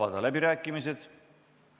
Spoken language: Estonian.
Istungi lõpp kell 10.39.